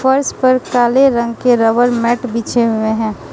फर्श पर काले रंग के रबर मैट बिछे हुए हैं।